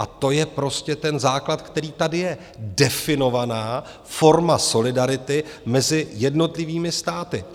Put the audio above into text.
A to je prostě ten základ, který tady je, definovaná forma solidarity mezi jednotlivými státy.